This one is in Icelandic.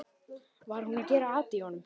Var hún að gera at í honum?